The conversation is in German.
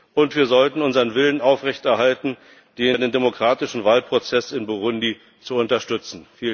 Und wir sollten unseren Willen aufrechterhalten, einen demokratischen Wahlprozess in Burundi zu unterstützen.